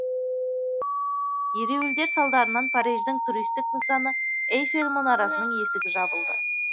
ереуілдер салдарынан париждің туристік нысаны эйфель мұнарасының есігі жабылды